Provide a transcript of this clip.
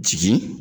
Jigi